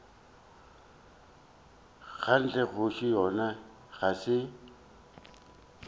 kganthe kgoši yona ga se